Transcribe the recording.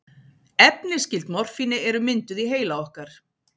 Efni skyld morfíni eru mynduð í heila okkar.